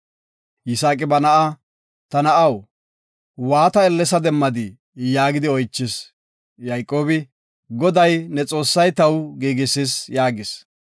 Yisaaqi ba na7a, “Ta na7aw, waata ellesada demmadii?” yaagidi oychis. Yayqoobi, “Goday, ne Xoossay taw giigisis” yaagis.